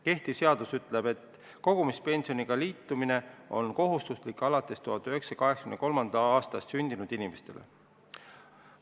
Kehtiv seadus ütleb, et kogumispensioniga liitumine on kohustuslik 1983. aastal või hiljem sündinud inimestele.